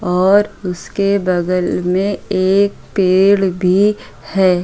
और उसके बगल मै एक पेड़ भी है।